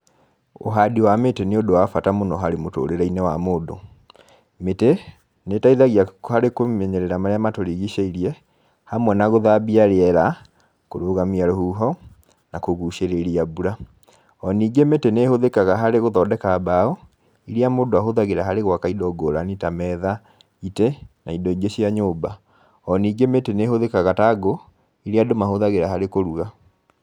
Ũhandi wa mĩtĩ nĩ ũndũ wa bata mũno harĩ mũtũrĩre-inĩ wa mũndũ. Mĩtĩ, nĩ ĩteithagia harĩ kũmenyerera maria matũrigicĩirie, hamwe na gũthambia rĩera, kũrũgamia rũhuho na kũgũcĩrĩria mbura. O ningĩ mĩtĩ nĩ ĩhũthĩkaga harĩ gũthondeka mbao, iria mũndũ ahũthagĩra harĩ gwaka indo ngũrani ta metha, itĩ, na indo ingĩ cia nyũmba. O ningĩ mĩtĩ nĩ ĩhũthĩkaga ta ngũ, iria andũ mahũthagĩra harĩ kũruga